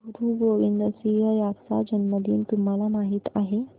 गुरु गोविंद सिंह यांचा जन्मदिन तुम्हाला माहित आहे